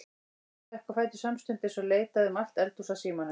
Ég stökk á fætur samstundis og leitaði um allt eldhús að símanum.